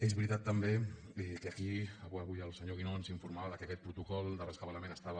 és veritat també que aquí avui el senyor guinó ens informava que aquest protocol de rescabalament estava